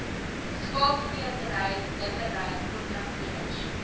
skaapskeerdery dippery kontrakteurs